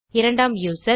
இரண்டாம் யூசர்